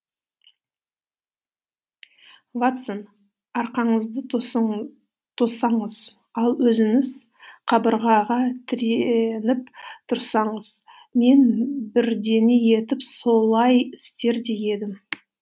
ватсон арқаңызды тоссаңыз ал өзіңіз қабырғаға тіреніп тұрсаңыз мен бірдеңе етіп солай істер де едім